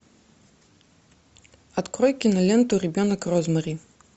открой киноленту ребенок розмари